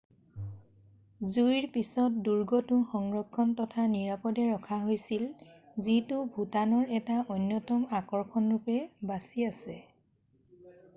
জুইৰ পিছত দুৰ্গটো সংৰক্ষণ তথা নিৰাপদে ৰাখা হৈছিল যিটো ভুটানৰ এটা অন্যতম আকৰ্ষণ ৰূপে বাছি আছে